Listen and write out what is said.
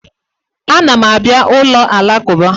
A na m abịa ụlọ alakụba.